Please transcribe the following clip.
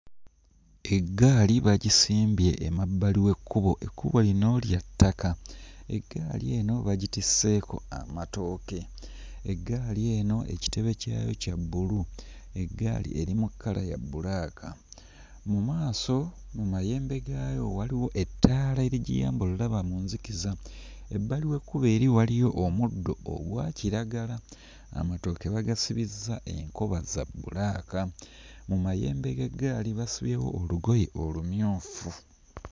Eggaali bagisimbye emabbali w'ekkubo. Ekkubo lino lya ttaka. Eggaali eno bagitisseeko amatooke. Eggaali eno ekitebe kyayo kya bbulu. Eggaali eri mu kkala ya bbulaaka. Mu maaso mu mayembe gaayo waliwo ettaala erigiyamba olaba mu nzikiza. Ebbali w'ekkubo eri waliyo omuddo ogwa kiragala. Amatooke bagasibizza enkoba za bbulaaka, mu mayembe g'eggaali basibyewo olugoye olumyufu.